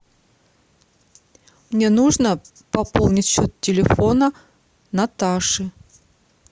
мне нужно пополнить счет телефона наташи